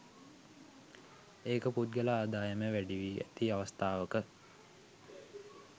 ඒකපුද්ගල ආදායම වැඩිවී ඇති අවස්ථාවක